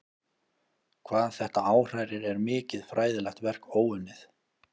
Hvað þetta áhrærir er mikið fræðilegt verk óunnið.